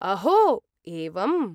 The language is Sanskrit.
अहो! एवम्।